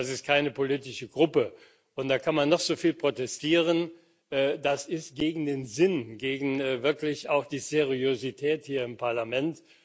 Das ist keine politische Gruppe da kann man noch so viel protestieren das ist gegen den Sinn, wirklich auch gegen die Seriosität hier im Parlament.